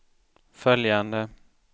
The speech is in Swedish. följande